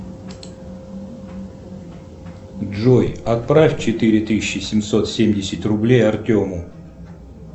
джой отправь четыре тысячи семьсот семьдесят рублей артему